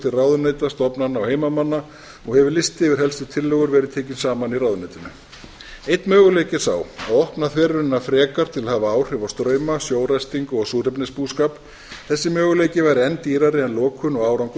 til ráðuneyta stofnana og heimamanna og hefur listi yfir helstu tillögur verið tekinn saman í ráðuneytinu einn möguleiki er sá að opna þverunina frekar til að hafa áhrif á strauma sjóræstingu og súrefnisbúskap þessi möguleiki var enn dýrari en lokun og árangur